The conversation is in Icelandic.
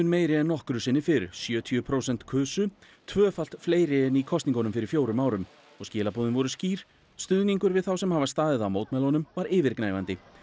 meiri en nokkru sinni fyrr sjötíu prósent kusu tvöfalt fleiri en í kosningunum fyrir fjórum árum og skilaboðin voru skýr stuðningur við þá sem hafa staðið að mótmælunum var yfirgnæfandi